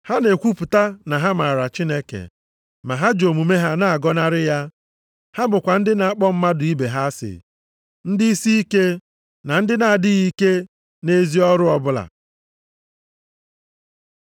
Ha na-ekwupụta na ha maara Chineke, ma ha ji omume ha na-agọnarị ya. Ha bụkwa ndị na-akpọ mmadụ ibe ha asị, ndị isiike, na ndị na-adịghị ike nʼezi ọrụ ọbụla.